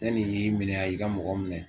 Ne nin y'i minɛ a y'i ka mɔgɔ minɛ